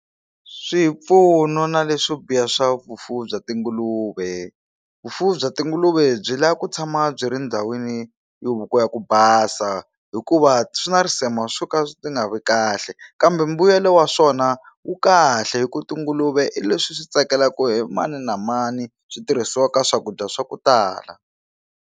Swipfuno na leswo biha swa vufuwi bya tinguluve vufuwi bya tinguluve byi la ku tshama byi ri ndhawini yo ku ya ku basa hikuva swi na risema swo ka swi ti nga ri kahle kambe mbuyelo wa swona wu kahle hi ku tinguluve hi leswi swi tsakelaka hi mani na mani switirhisiwaka ka swakudya swa ku tala.